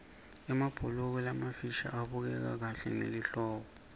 emabhuluko lamafisha abukeka kahle ngelihlobo